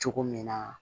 Cogo min na